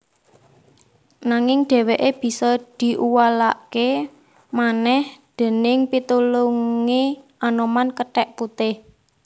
Nanging dhèwèké bisa diuwalaké manèh déning pitulungé Anoman kethèk putih